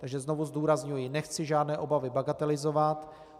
Takže znovu zdůrazňuji, nechci žádné obavy bagatelizovat.